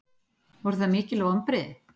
Voru það mikil vonbrigði?